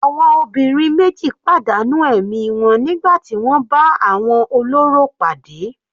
Àwọn obìnrin meji padà nù ẹ̀mí wọn nígbà tí wọ́n bá àwọn olórò pàdé.